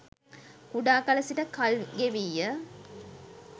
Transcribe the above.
කුඩා කල සිට කල්ගෙවීය